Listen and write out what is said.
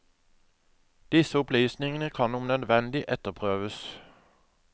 Disse opplysningene kan om nødvendig etterprøves.